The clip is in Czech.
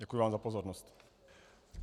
Děkuji vám za pozornost.